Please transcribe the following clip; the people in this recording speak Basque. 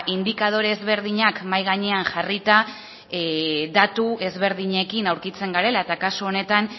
indikadore ezberdinak mahai gainean jarrita datu ezberdinekin aurkitzen garela eta kasu honetan